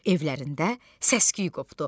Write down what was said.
Evlərində səsküy qopdu.